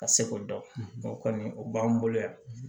Ka se ko dɔn o kɔni o b'an bolo yan